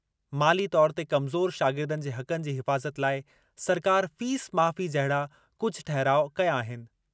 माली तौर ते कमज़ोर शागिर्दनि जे हक़नि जी हिफ़ाज़त लाइ सरकार फीस माफ़ी जहिड़ा कुझु ठहराउ कया आहिनि।